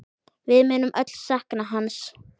Við munum öll sakna hans.